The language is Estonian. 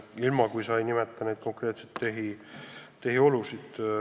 Oleks vaja teada konkreetseid tehiolusid.